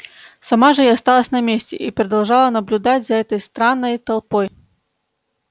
сама же я осталась на месте и продолжала наблюдать за этой странной толпой